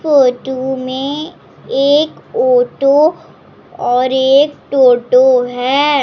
Photo में एक auto और एक टोटो है।